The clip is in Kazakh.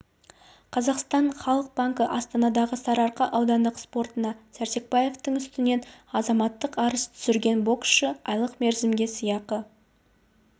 қазақстан халық банкі астанадағы сарыарқа аудандық сотына сәрсекбаевтың үстінен азаматтық арыз түсірген боксшы айлық мерзімге сыйақы